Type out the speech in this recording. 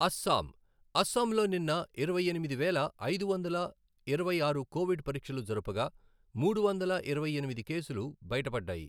అస్సాం, అస్సాంలో నిన్న ఇరవై ఎనిమిది వేల ఐదు వందల ఇరవై ఆరు కోవిడ్ పరీక్షలు జరపగా మూడు వందల ఇరవై ఎనిమిది కేసులు బయటపడ్దాయి.